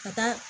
Ka taa